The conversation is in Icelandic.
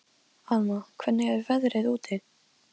Ég lenti í hópi með Hrönn og Sóleyju Björk.